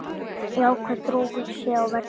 Jákvæð þróun sé á verði.